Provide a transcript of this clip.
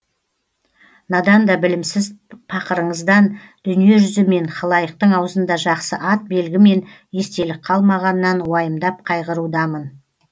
надан да білімсіз пақырыңыздан дүниежүзі мен халайықтың аузында жақсы ат белгі мен естелік қалмағанынан уайымдап қайғырудамын